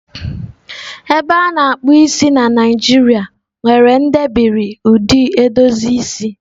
Ebe a na-akpụ isi na Nijiria nwere ndebiri ụdị edozi isi.